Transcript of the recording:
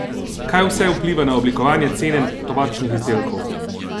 Kaj vse vpliva na oblikovanje cene tobačnih izdelkov?